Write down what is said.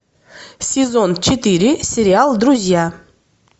сезон четыре сериал друзья